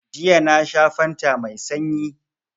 Jiya na sha fanta mai sanyi